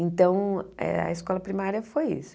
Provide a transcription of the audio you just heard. Então, eh a escola primária foi isso.